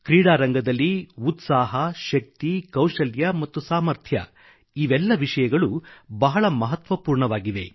ಕ್ರೀಡಾರಂಗದಲ್ಲಿ ಉತ್ಸಾಹ ಶಕ್ತಿ ಕೌಶಲ್ಯ ಮತ್ತು ಸಾಮರ್ಥ್ಯ ಇವೆಲ್ಲ ವಿಷಯಗಳು ಬಹಳ ಮಹತ್ವಪೂರ್ಣವಾಗಿವೆ